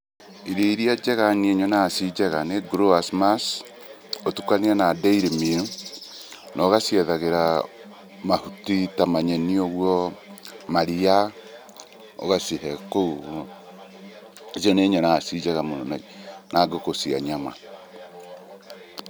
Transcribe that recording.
Irio iria njega niĩ nyonaga ciĩ njega nĩ growers mash ũtukanie na dairy meal, na ũgaciethagĩra mahuti ta manyeni ũguo, maria ũgacihe kũu ũguo. Icio nĩ nyonaga ciĩ njega mũno na ngũkũ cia nyama.